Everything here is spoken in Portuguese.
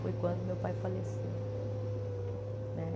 Foi quando meu pai faleceu. Né